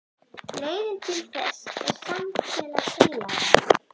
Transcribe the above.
Leiðin til þess er samfélag heilagra.